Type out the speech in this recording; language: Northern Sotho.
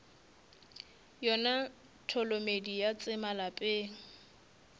yona tholomedi ya tsema lapeng